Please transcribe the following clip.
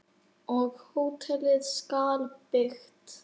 Og hótelið skal byggt.